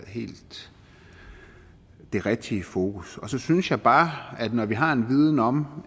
helt rigtige fokus så synes jeg bare at når vi har en viden om